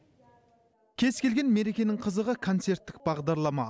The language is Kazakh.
кез келген мерекенің қызығы концерттік бағдарлама